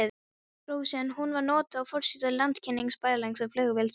Rósu en hún var notuð á forsíðu landkynningarbæklings Flugfélags Íslands.